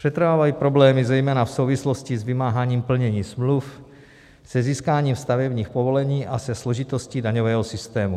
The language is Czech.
Přetrvávají problémy zejména v souvislosti s vymáháním plnění smluv, se získáním stavebních povolení a se složitostí daňového systému.